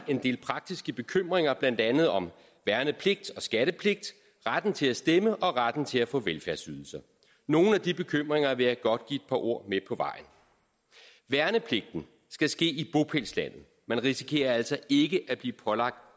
en del praktiske bekymringer blandt andet om værnepligt og skattepligt retten til at stemme og retten til at få velfærdsydelser nogle af de bekymringer vil jeg godt give et par ord med på vejen værnepligten skal ske i bopælslandet man risikerer altså ikke at blive pålagt